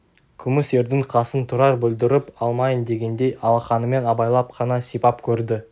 күміс ердің қасын тұрар бүлдіріп алмайын дегендей алақанымен абайлап қана сипап көрді